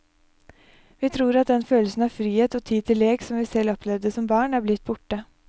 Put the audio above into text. Vi tror at den følelsen av frihet og tid til lek som vi selv opplevde som barn er blitt borte.